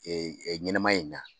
Ee ɲɛnamaya in na